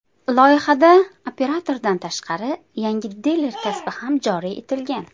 Loyihada operatordan tashqari yangi diler kasbi joriy etilgan.